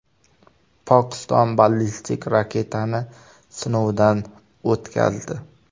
Pokiston ballistik raketani sinovdan o‘tkazdi .